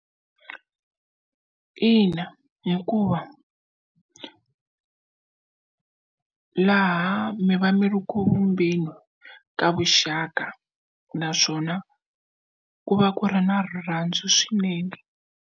Ina hikuva laha mi va mi ri ku vumbeni ka vuxaka naswona ku va ku ri na rirhandzu swinene.